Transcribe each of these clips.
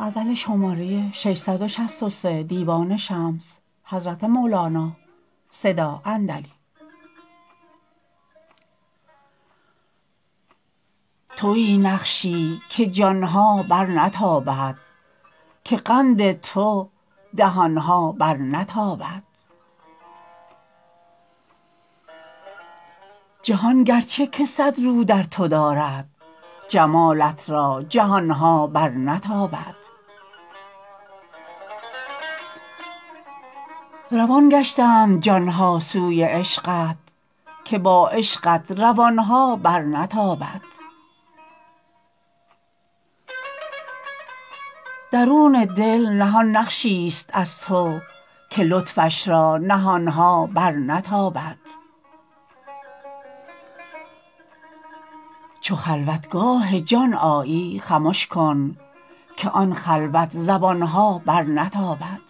توی نقشی که جان ها برنتابد که قند تو دهان ها برنتابد جهان گرچه که صد رو در تو دارد جمالت را جهان ها برنتابد روان گشتند جان ها سوی عشقت که با عشقت روان ها برنتابد درون دل نهان نقشیست از تو که لطفش را نهان ها برنتابد چو خلوتگاه جان آیی خمش کن که آن خلوت زبان ها برنتابد بدو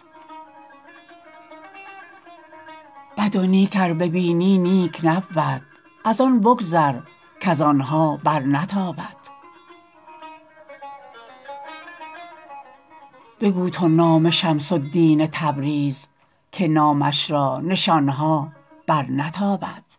نیک ار ببینی نیک نبود از آن بگذر کز آن ها برنتابد بگو تو نام شمس الدین تبریز که نامش را نشان ها برنتابد